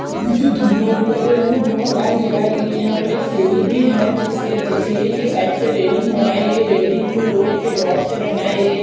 जिसे धुआं निकल रहा है यहां बहुत आग जलाई गई है यहां पे एक सीढ़ी भी है जिसके सीढ़ी के साइड से रेलिंग बनाई है रैलिंग को लोहे के रोड से बनाई गई है।